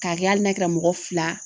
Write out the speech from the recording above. K'a kɛ hali n'a kɛra mɔgɔ fila